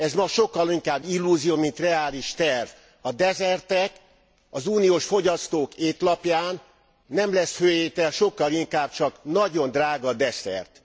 Ez ma sokkal inkább illúzió, mint reális terv. A Desertec az uniós fogyasztók étlapján nem lesz főétel, sokkal inkább csak nagyon drága desszert.